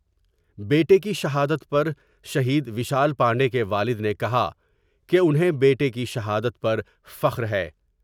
بیٹے کی شہادت پر شہید ویشال پانڈے کے والد نے کہا کہ انھیں بیٹے کی شہادت پر فخر ہے ۔